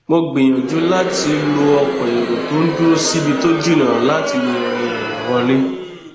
mo gbìyànjú láti lo ọkọ èrò tó n dúró síbi tó jìnnà láti lè rin ìrìn wọlé